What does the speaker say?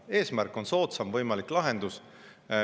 Eesmärk on soodsaim võimalik lahendus.